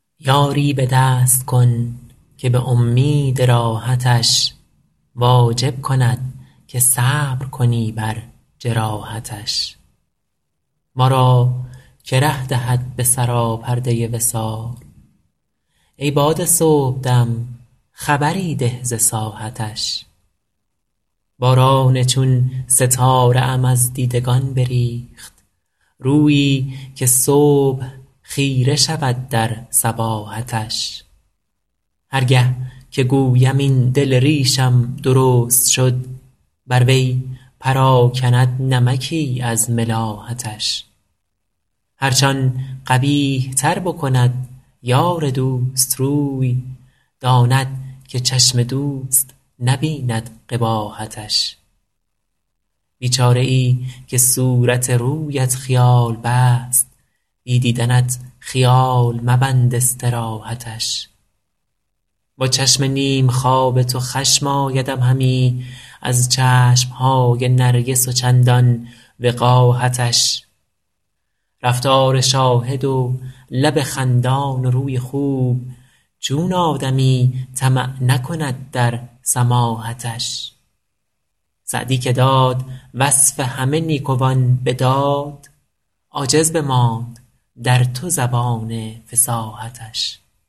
یاری به دست کن که به امید راحتش واجب کند که صبر کنی بر جراحتش ما را که ره دهد به سراپرده وصال ای باد صبح دم خبری ده ز ساحتش باران چون ستاره ام از دیدگان بریخت رویی که صبح خیره شود در صباحتش هر گه که گویم این دل ریشم درست شد بر وی پراکند نمکی از ملاحتش هرچ آن قبیح تر بکند یار دوست روی داند که چشم دوست نبیند قباحتش بیچاره ای که صورت رویت خیال بست بی دیدنت خیال مبند استراحتش با چشم نیم خواب تو خشم آیدم همی از چشم های نرگس و چندان وقاحتش رفتار شاهد و لب خندان و روی خوب چون آدمی طمع نکند در سماحتش سعدی که داد وصف همه نیکوان به داد عاجز بماند در تو زبان فصاحتش